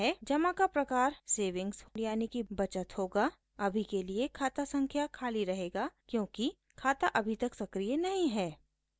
जमा का प्रकार बचत होगा अभी के लिये खाता संख्या खाली रहेगा क्योंकि खाता अभी तक सक्रिय नहीं है